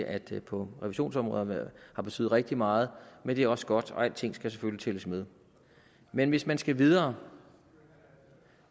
at det på revisionsområdet har betydet rigtig meget men det er også godt og alting skal selvfølgelig tælles med men hvis man skal videre